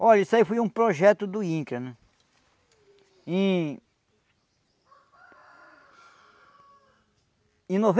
Olha, isso aí foi um projeto do INCRA, né? Em... em